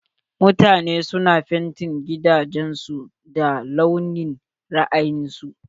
Mutane su na fentin gidajen su da launin ra'ayin su.